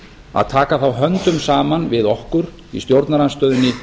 að taka þá höndum saman við okkur í stjórnarandstöðunni